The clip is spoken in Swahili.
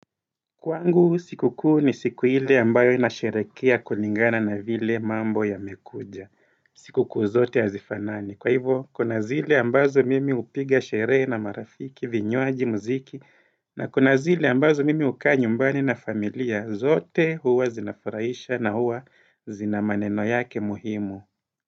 Kwangu siku kuu ni siku ile ambayo inasherekea kulingana na vile mambo yamekuja. Siku kuu zote hazifanani. Kwa hivyo, kuna zile ambazo mimi hupiga sherehe na marafiki, vinywaji muziki, na kuna zile ambazo mimi hukaa nyumbani na familia. Zote huwa zinafarahisha na huwa zina maneno yake muhimu.